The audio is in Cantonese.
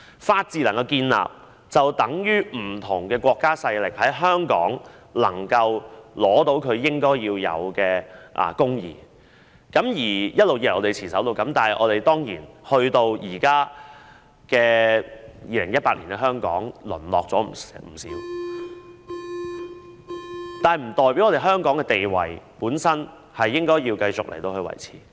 法治能夠建立，便等於不同國家勢力在香港能夠取得其應有的公義，這是我們一直以來所持守的，但當然，直至現在2018年，香港已淪落不少，但香港在這方面的地位應該繼續維持。